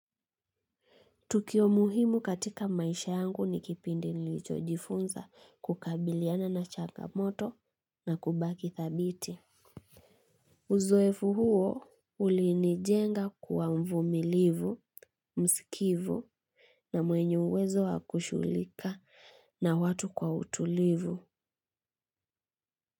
Tukio muhimu katika maisha yangu ni kipindi nilichojifunza kukabiliana na changamoto na kubaki thabiti. Uzoefu huo ulinijenga kuwa mvumilivu, msikivu na mwenye uwezo wakushugulika na watu kwa utulivu.